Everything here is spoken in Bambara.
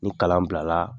Ni kalan bila la